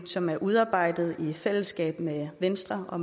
som er udarbejdet i fællesskab med venstre og